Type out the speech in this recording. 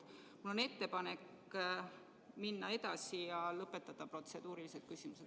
Mul on ettepanek minna edasi ja lõpetada protseduurilised küsimused.